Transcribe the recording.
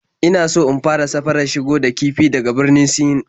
Ina so in fara safarar shigo da kifi daga Birnin Sin